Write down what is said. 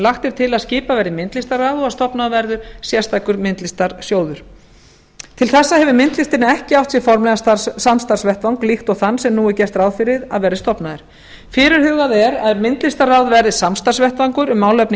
lagt er til að skipað verði myndlistarráð og að stofnaður verði sérstakur myndlistarsjóður til þessa hefur myndlistin ekki átt sér formlegan samstarfsvettvang líkt og þann sem nú er gert ráð fyrir að verði stofnaður fyrirhugað er að myndlistarráð verði samstarfsvettvangur um málefni